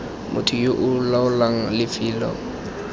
motho yo o laolang lefelo